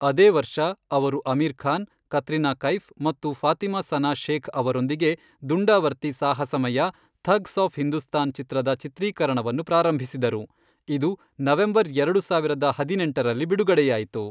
ಅದೇ ವರ್ಷ, ಅವರು ಅಮೀರ್ ಖಾನ್, ಕತ್ರಿನಾ ಕೈಫ್ ಮತ್ತು ಫಾತಿಮಾ ಸನಾ ಶೇಖ್ ಅವರೊಂದಿಗೆ ದುಂಡಾವರ್ತಿ ಸಾಹಸಮಯ 'ಥಗ್ಸ್ ಆಫ್ ಹಿಂದೂಸ್ತಾನ್' ಚಿತ್ರದ ಚಿತ್ರೀಕರಣವನ್ನು ಪ್ರಾರಂಭಿಸಿದರು, ಇದು ನವೆಂಬರ್ ಎರಡು ಸಾವಿರದ ಹದಿನೆಂಟರಲ್ಲಿ ಬಿಡುಗಡೆಯಾಯಿತು.